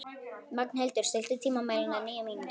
Magnhildur, stilltu tímamælinn á níu mínútur.